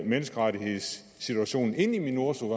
menneskerettighedssituationen ind i minurso